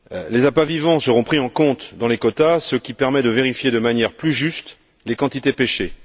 Les appâts vivants seront pris en compte dans les quotas, ce qui permet de vérifier de manière plus juste les quantités pêchées.